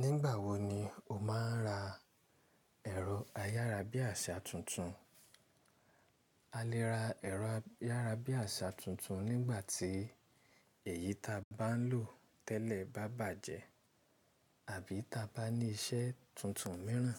Nígbà wo ni o máa ń ra ẹ̀rọ ayárabíàṣá tuntun? A lè ra ẹ̀rọ ayárabíàṣá tuntun nígbà tí èyí ta bá ń lò tẹ́lẹ̀ bá bàjẹ́ àbí ta bá ní iṣẹ́ tuntun míràn